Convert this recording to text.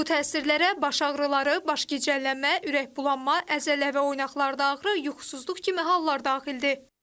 Bu təsirlərə baş ağrıları, baş gicəllənmə, ürək bulanma, əzələ və oynaqlarda ağrı, yuxusuzluq kimi hallar daxildir.